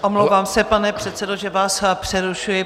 Omlouvám se, pane předsedo, že vás přerušuji.